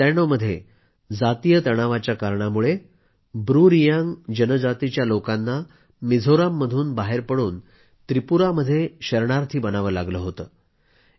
1997मध्ये जातीय तणावाच्या कारणामुळे ब्रूरियांग जनजातीच्या लोकांना मिझोराममधून बाहेर पडून त्रिपुरामध्ये शरणार्थी बनावं लागलं